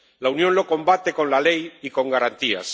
La Unión lo combate con la ley y con garantías.